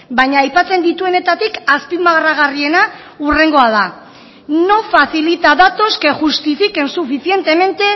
baina aipatzen dituenetatik azpimarragarriena hurrengoa da no facilita datos que justifiquen suficientemente